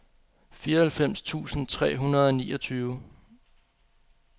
fireoghalvfems tusind tre hundrede og niogtyve